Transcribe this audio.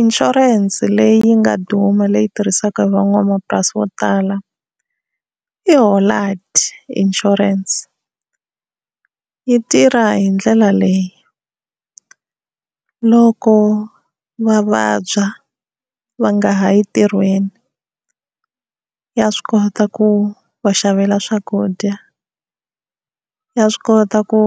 Inshurense leyi yi nga duma leyi tirhisaka hi van'wamapurasi vo tala i Hollard insurance, yi tirha hi ndlela leyi loko va vabya va nga ha yi ntirhweni ya swi kota ku va xavela swakudya, ya swi kota ku